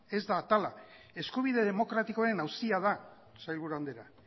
ez da atala eskubide demokratikoen auzia da sailburu andrea